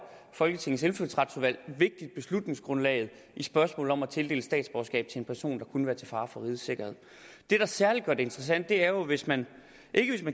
folketingets indfødsretsudvalg et vigtigt beslutningsgrundlag i spørgsmålet om at tildele statsborgerskab til en person der kunne være til fare for rigets sikkerhed det der særlig gør det interessant er jo hvis man